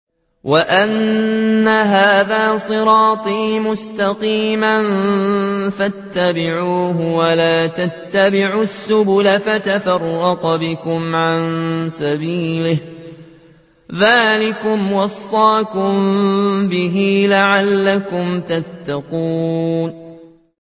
وَأَنَّ هَٰذَا صِرَاطِي مُسْتَقِيمًا فَاتَّبِعُوهُ ۖ وَلَا تَتَّبِعُوا السُّبُلَ فَتَفَرَّقَ بِكُمْ عَن سَبِيلِهِ ۚ ذَٰلِكُمْ وَصَّاكُم بِهِ لَعَلَّكُمْ تَتَّقُونَ